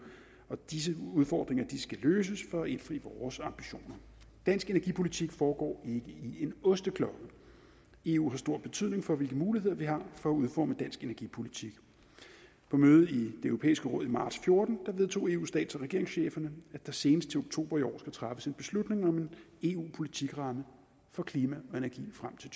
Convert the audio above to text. og disse udfordringer skal løses for at indfri vores ambitioner dansk energipolitik foregår i en osteklokke eu har stor betydning for hvilke muligheder vi har for at udforme en dansk energipolitik på mødet i det europæiske råd i marts fjorten vedtog eus stats og regeringschefer at der senest til oktober i år træffes en beslutning om en eu politikramme for klima og energi frem til